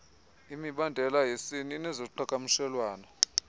imibandela yesini nezoqhakamshelwano